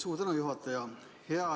Suur tänu, juhataja!